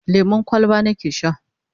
lemun kwalba nake Sha